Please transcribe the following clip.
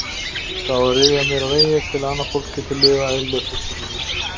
Það á að ryðja mér úr vegi til að annað fólk geti lifað eðlilegu fjölskyldulífi.